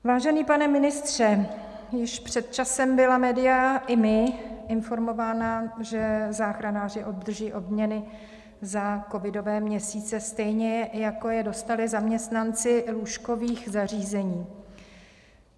Vážený pane ministře, už před časem byla média i my informována, že záchranáři obdrží odměny za covidové měsíce, stejně jako je dostali zaměstnanci lůžkových zařízení.